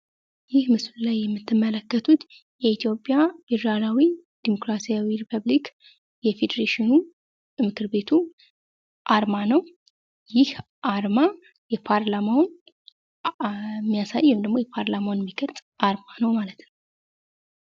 ይህ ምስሉ ላይ የምትመለከቱት የኢትዮጵያ ፌዴራላዊ ዲሞክራሲያዊ ሪፐብሊክ የፌደሬሽኑ ምክር ቤቱ አርማ ነው። ይህ አርማ የፓርላማውን የሚያሳይ ወይም ደግሞ ፓርላማውን የሚገልፅ አርማ ነው ማለት ነው።